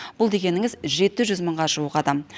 бұл дегеніңіз жеті жүз мыңға жуық адам